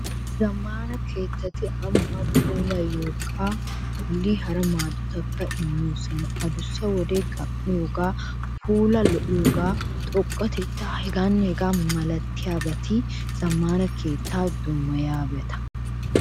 Zammaana keettati ambbaa puulayiyogaa bolli hara maadotakka immoosona. Adussa wodiya gam'iyogee, puulaa lo'iyogee, xoqqatettay... hegaanne hegaa milatiyabati zammaana keettaa dummayiyabata.